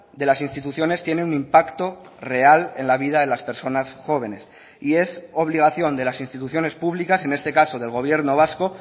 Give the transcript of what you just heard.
de las instituciones tiene un impacto real en la vida de las personas jóvenes y es obligación de las instituciones públicas en este caso del gobierno vasco